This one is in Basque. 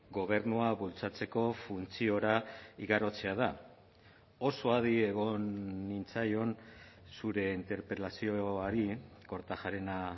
gobernua bultzatzeko funtziora igarotzea da oso adi egon nintzaion zure interpelazioari kortajarena